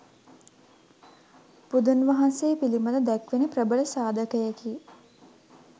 බුදුන් වහන්සේ පිළිබද දැක්වෙන ප්‍රබල සාධකයකි.